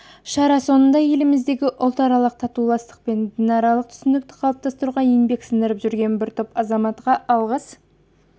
шара соңында еліміздегі ұлтаралық татулық пен дінаралық түсіністікті қалыптастыруда еңбек сіңіріп жүрген бір топ азаматқа алғыс